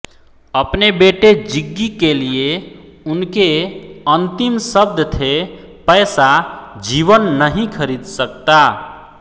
अपने बेटे ज़िग्गी के लिए उनके अंतिम शब्द थे पैसा जीवन नहीं खरीद सकता